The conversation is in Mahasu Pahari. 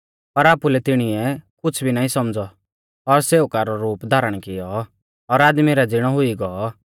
पर आपुलै तिणीऐ कुछ़ भी नाईं सौमझ़ौ और सेवका रौ रूप धारण कियौ और आदमी रै ज़िणौ हुई गौ